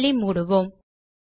பைலை மூடுவோம்